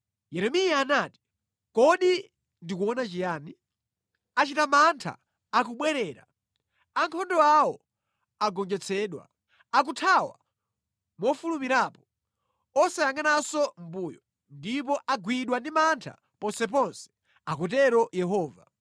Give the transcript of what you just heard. Yeremiya anati: Kodi ndikuona chiyani? Achita mantha akubwerera, ankhondo awo agonjetsedwa. Akuthawa mofulumirapo osayangʼananso mʼmbuyo, ndipo agwidwa ndi mantha ponseponse,” akutero Yehova.